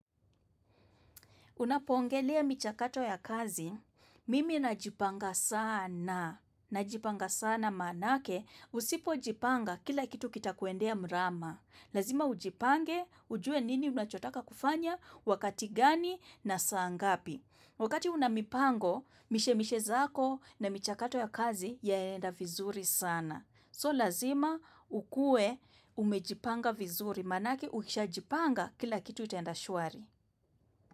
Unapoongelea michakato ya kazi, mimi najipanga sana. Najipanga sana maanake, usipojipanga kila kitu kitakuendea mrama. Lazima ujipange, ujue nini unachotaka kufanya, wakati gani na saa ngapi. Wakati una mipango, mishemishe zako na michakato ya kazi yaenda vizuri sana. So lazima ukue umejipanga vizuri maanake ukishajipanga kila kitu itaenda shwari.